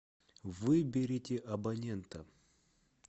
выберите абонента